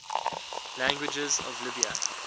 languages of libya